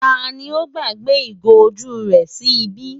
Ta ni ó gbàgbé ìgò ojú rẹ̀ sí ibí?